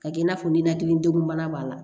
Ka kɛ i n'a fɔ ninakili degun bana b'a la